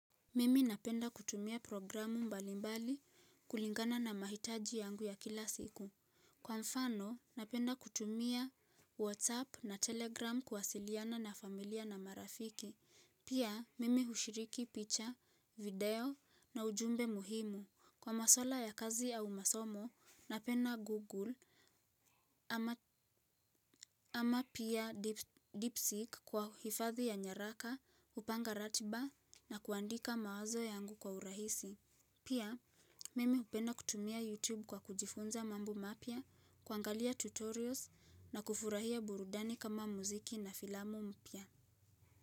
Mimi napenda kutumia programu mbali mbali kulingana na mahitaji yangu ya kila siku. Kwa mfano, napenda kutumia WhatsApp na Telegram kuwasiliana na familia na marafiki. Pia, mimi ushiriki picha, video na ujumbe muhimu. Kwa maswala ya kazi au masomo, napenda Google ama ama pia DeepSeek kwa hifadhi ya nyaraka, kupanga ratiba na kuandika mawazo yangu kwa urahisi. Pia, mimi hupenda kutumia YouTube kwa kujifunza mambo mapya, kuangalia tutorials na kufurahia burudani kama muziki na filamu mpya.